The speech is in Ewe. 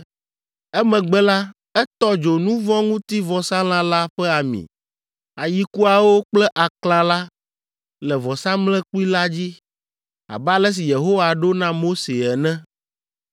Emegbe la, etɔ dzo nu vɔ̃ ŋuti vɔsalã la ƒe ami, ayikuawo kple aklã la le vɔsamlekpui la dzi, abe ale si Yehowa ɖo na Mose ene.